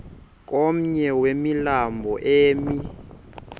komnye wemilambo emi